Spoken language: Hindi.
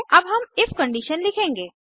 अब हम इफ कंडीशन लिखेंगे